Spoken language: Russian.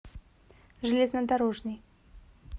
железнодорожный